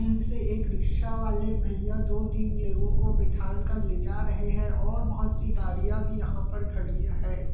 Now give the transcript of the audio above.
एक रिक्शा वाले भैया दो तीन लोगों को बिठाल कर ले जा रहें हैं और बहोत सी गड़िया भी यहाँ पर खड़ी है।